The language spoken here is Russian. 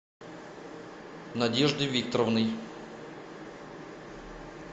надеждой викторовной